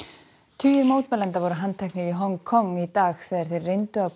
tugir mótmælenda voru handteknir í Hong Kong í dag þegar þeir reyndu að